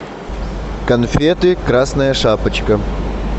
конфеты красная шапочка